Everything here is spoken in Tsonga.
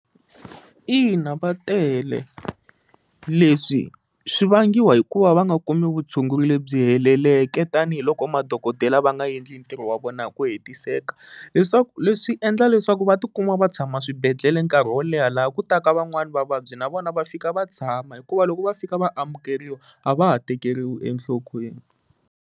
Ina va tele leswi swi vangiwa hi ku va va nga kumi vutshunguri lebyi heleleke tanihiloko madokodela va nga endli ntirho wa vona hi ku hetiseka leswaku leswi endla leswaku va tikuma va tshama swibedhlele nkarhi wo leha laha ku ta ka van'wani vavabyi na vona va fika va tshama hikuva loko va fika va amukeriwa a va ha tekeriwi enhlokweni.